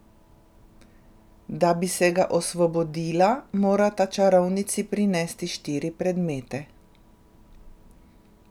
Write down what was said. Da bi se ga osvobodila, morata čarovnici prinesti štiri predmete.